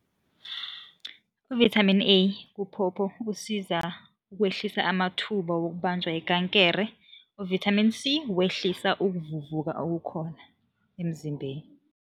Ivithamini A kuphopho usiza ukwehlisa amathuba wokubanjwa yikankere, u-Vitamin C wehlisa ukuvuvuka okukhona emzimbeni.